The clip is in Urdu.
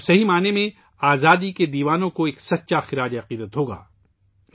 جو حقیقی معنوں میں آزادی کے متوالوں کو حقیقی خراج عقیدت ہوگا